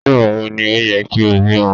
Nígbàwo ni ó ye kí o bímo